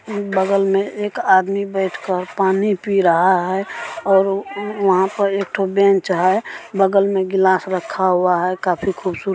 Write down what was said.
उम्म् बगल में एक आदमी बैठ कर पानी पी रहा है और उम् वहां पे एठो बेंच हैं बगल में ग्लास रखा हुआ है काफी खूबसूरत।